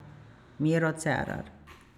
Miro Cerar!